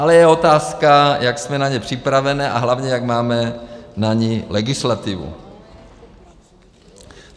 Ale je otázka, jak jsme na ně připravení a hlavně jak máme na ně legislativu.